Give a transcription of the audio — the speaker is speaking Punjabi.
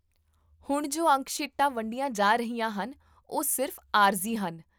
ਹੁਣ ਜੋ ਅੰਕ ਸ਼ੀਟਾਂ ਵੰਡੀਆਂ ਜਾ ਰਹੀਆਂ ਹਨ, ਉਹ ਸਿਰਫ਼ ਆਰਜ਼ੀ ਹਨ